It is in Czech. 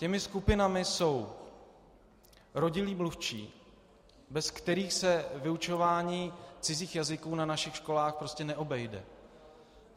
Těmi skupinami jsou rodilí mluvčí, bez kterých se vyučování cizích jazyků na našich školách prostě neobejde.